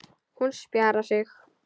Hún spjarar sig.